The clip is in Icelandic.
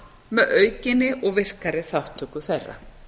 með aukinni og virkari þátttöku þeirra